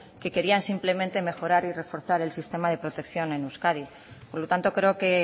que querían simplemente mejorar y reforzar el sistema de protección en euskadi por lo tanto creo que